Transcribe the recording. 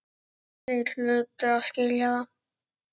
Þeir hlutu að skilja það.